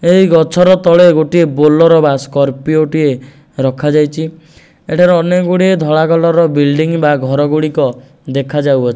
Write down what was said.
ଏହି ଗଛର ତଳେ ଗୋଟିଏ ବୋଲେରୋ ବା ସର୍ପିଓ ଟିଏ ରଖାଯାଇଛି ଏଠି ଅନେକ ଗୁଡ଼ିଏ ଧଳା କଲର୍ ବୁଇଲ୍ଡିଙ୍ଗ ବା ଘର ଗୁଡ଼ିକ ଦେଖାଯାଉ ଅ।